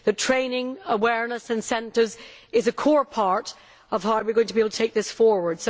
The training, awareness and incentives are a core part of how we are going to be able to take this forward.